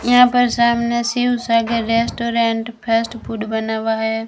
यहां पर सामने Shiv Sagar restaurant fast food बना हुआ है।